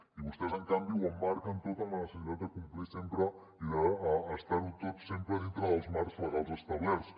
i vostès en canvi ho emmarquen tot en la necessitat de complir sempre i d’estar tot sempre dintre dels marcs legals establerts